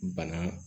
Bana